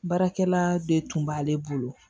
Baarakɛla de tun b'ale bolo